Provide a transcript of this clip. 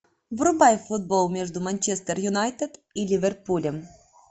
врубай футбол между манчестер юнайтед и ливерпулем